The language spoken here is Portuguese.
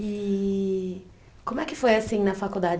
E como é que foi assim na faculdade?